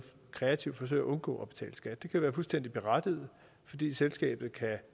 kreativt forsøger at undgå at betale skat det kan være fuldstændig berettiget fordi selskabet kan